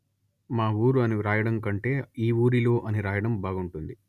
మా ఊరు అని వ్రాయడం కంటే ఈ ఊరిలో అని వ్రాయడం బాగుంటుంది